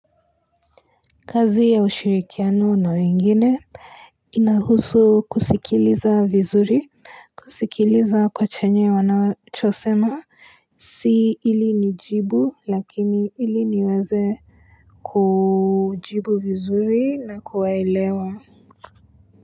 Kazi ya ushirikiano na wengine inahusu kusikiliza vizuri. Kusikiliza kwa chenye wanachosema Si ili nijibu lakini ili niweze kujibu vizuri na kuwaelewa.